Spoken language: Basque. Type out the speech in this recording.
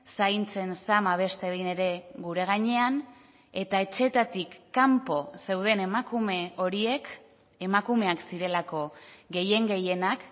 zaintzen zama beste behin ere gure gainean eta etxeetatik kanpo zeuden emakume horiek emakumeak zirelako gehien gehienak